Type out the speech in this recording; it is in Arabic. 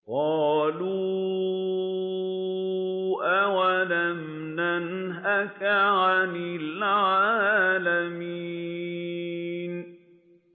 قَالُوا أَوَلَمْ نَنْهَكَ عَنِ الْعَالَمِينَ